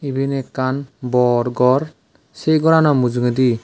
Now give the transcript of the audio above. eyan akken bor gor se goranno mujogedi.